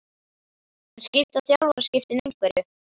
En skipta þjálfaraskiptin einhverju?